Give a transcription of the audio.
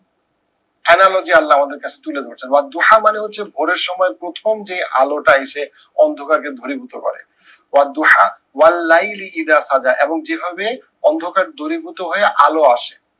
analogy আল্লাহ আমাদের কাছে তুলে ধরছে দোহা মানে হচ্ছে ভোরের সময় প্রথম যে আলোটা এসে অন্ধকারকে ঘনীভূত করে। দোহা এবং যেভাবে অন্ধকার দূরীভূত হয়ে আলো আসে।